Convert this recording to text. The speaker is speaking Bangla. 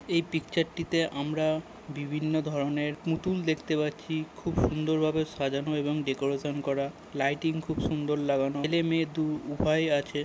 এই পিকচারটিতে আমরা বিভিন্ন ধরণের পুতুল দেখতে পাচ্ছি খুব সুন্দর ভাবে সাজানো এবং ডেকোরেশন করা লাইটিং খুব সুন্দর লাগানো ছেলে মেয়ে দু উভয়েই আছে।